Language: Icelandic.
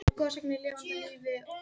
Náði sér fljótt eftir slys